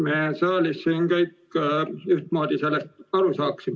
Me siin saalis võiksime sellest kõik ühtmoodi aru saada.